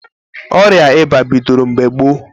Ọrịa ịba bidoro mgbe gboo.